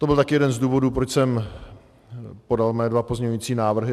To byl také jeden z důvodů, proč jsem podal své dva pozměňující návrhy.